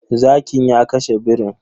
Zakin ya kashe birin.